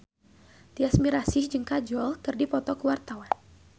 Tyas Mirasih jeung Kajol keur dipoto ku wartawan